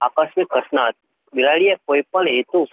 આકસ્મિક પ્રશ્ન હતો. બિલાડીએ કોઈપણ હેતુ